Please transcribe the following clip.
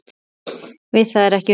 Við það verði ekki unað.